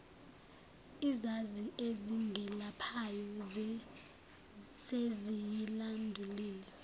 izazi ezingelaphayo seziyilandulile